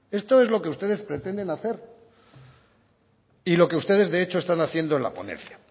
esto es lo que ustedes pretenden hacer y lo que ustedes de hecho están haciendo en la ponencia